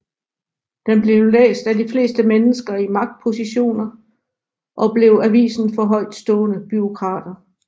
Den blev læst af de fleste mennesker i magtpositioner og blev avisen for højtstående bureaukrater